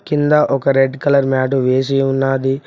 కింద ఒక red colour మ్యాడు వేసి ఉన్నాది.